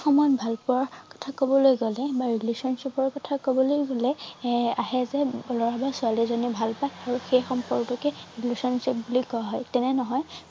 ভাল পোৱাৰ কথা কবলৈ গলে বা relationship কবলৈ গলে এৰ আহে যে লৰা বা ছোৱালী জনী ভাল পোৱা আৰু সেই সম্পৰ্ক তোকে relationship বুলি কোৱা হয় তেনে নহয়